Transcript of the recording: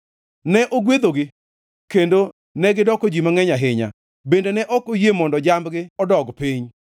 ne ogwedhogi, kendo negidoko ji mangʼeny ahinya, bende ne ok oyie mondo jambgi odog piny.